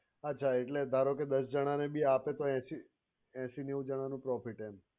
અચ્છા એટલે ધારો કે દસ જણાને ભી આપે તો એશી એશી નેવું જણાનો profit એમ